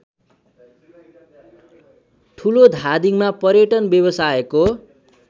ठुलोधादिङमा पर्यटन व्यावसायको